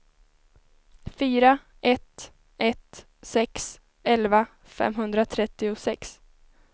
fyra ett ett sex elva femhundratrettiosex